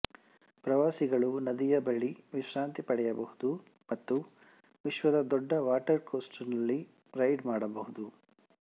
ಪ್ರವಾಸಿಗಳು ನದಿಯ ಬಳಿ ವಿಶ್ರಾಂತಿ ಪಡೆಯಬಹುದು ಮತ್ತು ವಿಶ್ವದ ದೊಡ್ಡ ವಾಟರ್ ಕೋಸ್ಟರ್ ನಲ್ಲಿ ರೈಡ್ ಮಾಡಬಹುದು